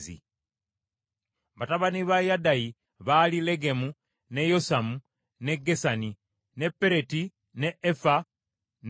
Batabani ba Yadayi baali Legemu, ne Yosamu, ne Gesani, ne Pereti, ne Efa ne Saafu.